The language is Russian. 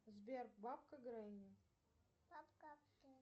сбер бабка гренни